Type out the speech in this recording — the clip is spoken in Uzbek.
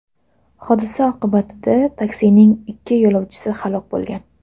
Hodisa oqibatida taksining ikki yo‘lovchisi halok bo‘lgan.